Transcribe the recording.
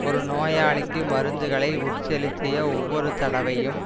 ஒரு நோயாளிக்கு மருந்துகளை உட்செலுத்திய ஒவ்வொரு தடவையும்